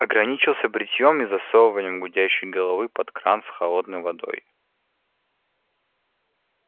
ограничился бритьём и засовыванием гудящей головы под кран с холодной водой